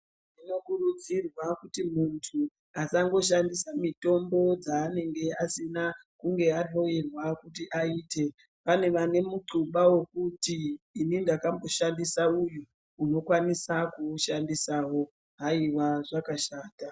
Kunokurudzirwa kuti muntu asangoshandisa mitombo dzanenge asina kunge ahloyewa kuti ayite. Pane vanemucuba wokuti ndakamboshandisa uyu, unokwanisa kuwushandisawo, hayiwa! Zvakashata.